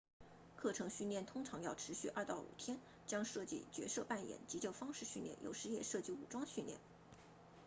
课程训练通常要持续 2-5 天将涉及角色扮演急救方式训练有时也涉及武装训练